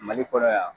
Mali kɔnɔ yan